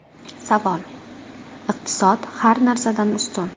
Savol: Iqtisod har narsadan ustun.